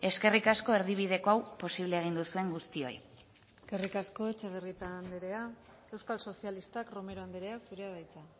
eskerrik asko erdibideko hau posible egin duzuen guztioi eskerrik asko etxebarrieta andrea euskal sozialistak romero andrea zurea da hitza